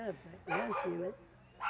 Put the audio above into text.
É. É assim, né?